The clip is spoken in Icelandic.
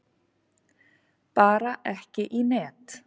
Bara ekki í net.